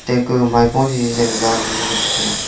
aka maipo ziza ley ngan taiga.